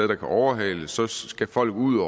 der kan overhales så skal folk ud